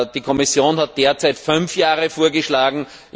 Die Kommission hat derzeit fünf Jahre vorgeschlagen.